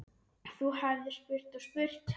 Þú hefðir spurt og spurt.